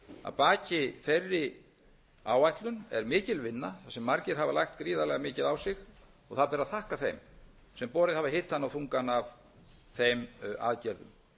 að baki þeirri áætlun er mikil vinna þar sem margir hafa lagt gríðarlega mikið á og það ber að þakka þeim sem borið hafa hitann og þungan af þeim aðgerðum